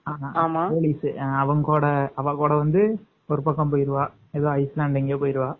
Police அவன்கூட வந்து அவகூட வந்து ஒரு பக்கம் போயிருவா upstand எங்கையோ போயிருவா?